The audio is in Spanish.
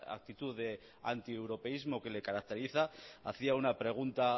actitud de antieuropeísmo que le caracteriza hacía una pregunta